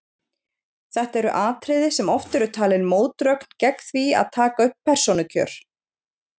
Þetta eru atriði sem oft eru talin mótrök gegn því að taka upp persónukjör.